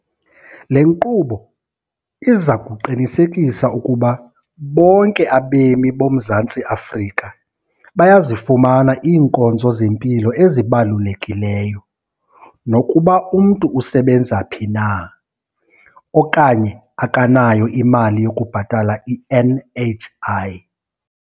Le nkqubo iza kuqinisekisa ukuba bonke abemi boMzantsi Afrika bayazifumana iinkonzo zempilo ezibalukelekileyo, nokuba umntu usebenza phi na okanye akanayo imali yokubhatala i-NHI.